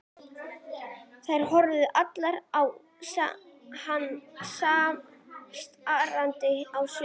Þær horfa allar á hann strangar á svip.